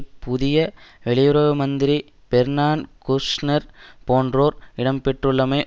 புதிய வெளியுறவு மந்திரி பேர்னான் குஷ்நெர் போன்றோர் இடம் பெற்றுள்ளமை